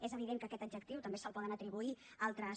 és evident que aquest adjectiu també se’l poden atribuir altres